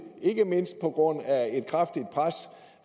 ikke mindst på grund af et kraftigt pres